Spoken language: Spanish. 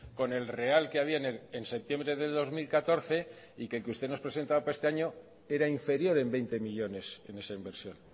con el real que había en septiembre de dos mil catorce y que usted nos presentaba para este año era inferior en veinte millónes en esa inversión